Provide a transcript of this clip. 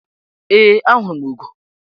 Ee, ahụrụ m ugo.